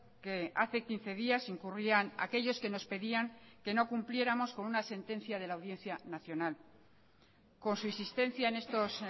que hace quince días incurrían aquellos que nos pedían que no cumpliéramos con una sentencia de la audiencia nacional con su insistencia en estos